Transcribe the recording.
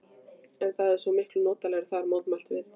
En það er svo miklu notalegra þar, mótmælum við.